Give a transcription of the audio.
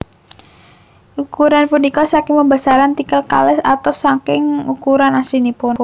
Ukuran punika saking pembesaran tikel kalih atus saking ukuran aslinipun